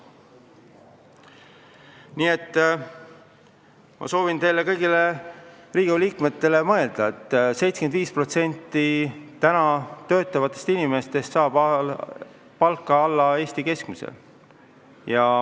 Nii et ma soovitan kõigil Riigikogu liikmetel mõelda, et 75% praegu töötavatest inimestest saavad palka alla Eesti keskmise.